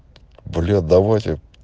бля давайте